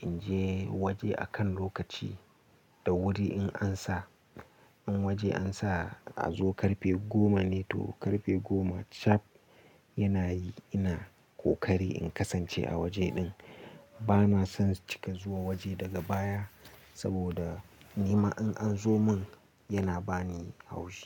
in je waje akan lokaci da wuri, in an sa in waje an sa a zo karfe goma ne to karfe goma chip yana yi ina ƙoƙari in kasance a waje din. Bana son cika zuwa waje daga baya saboda ni ma in an zo mun yana ba ni haushi.